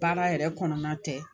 Baara yɛrɛ kɔnɔna tɛ